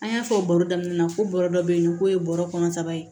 An y'a fɔ baro daminɛ na ko bɔrɔ dɔ be yen nɔ k'o ye bɔrɔ kɔnɔ saba ye